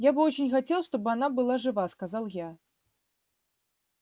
я бы очень хотел чтобы она была жива сказал я